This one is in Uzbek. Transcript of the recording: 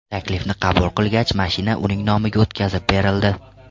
taklifni qabul qilgach, mashina uning nomiga o‘tkazib berildi.